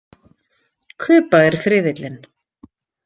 Kuba er friðillinn.